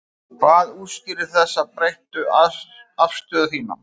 Hvað útskýrir þessa breyttu afstöðu þína?